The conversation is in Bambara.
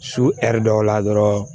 Su hɛri dɔw la dɔrɔn